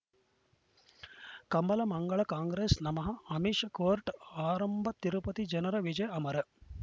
ಕಮಲ ಮಂಗಳ ಕಾಂಗ್ರೆಸ್ ನಮಃ ಅಮಿಷ್ ಕೋರ್ಟ್ ಆರಂಭ ತಿರುಪತಿ ಜನರ ವಿಜಯ ಅಮರ